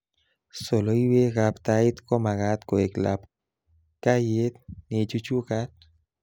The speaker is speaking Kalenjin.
Soloiwekab tait komakat koe labkayet neichuchkat